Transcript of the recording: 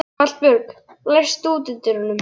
Hallbjörg, læstu útidyrunum.